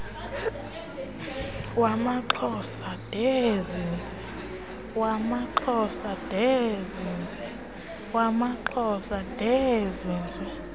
wamaxhosa ndee zinzi